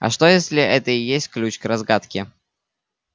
а что если это и есть ключ к разгадке